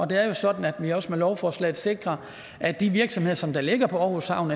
det er jo sådan at vi også med lovforslaget sikrer at de virksomheder som ligger på aarhus havn